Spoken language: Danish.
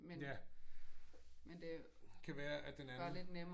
Ja. Kan være at den anden